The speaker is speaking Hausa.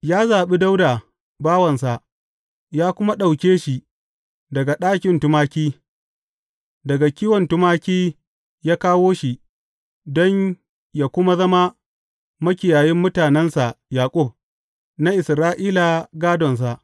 Ya zaɓi Dawuda bawansa ya kuma ɗauke shi daga ɗakin tumaki; daga kiwon tumaki ya kawo shi don yă kuma zama makiyayin mutanensa Yaƙub, na Isra’ila gādonsa.